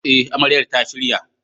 Eh, amarya ta shirya.